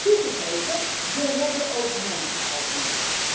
Toegegeven, we redden ook mensen uit Libië.